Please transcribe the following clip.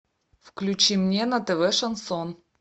включи мне на тв шансон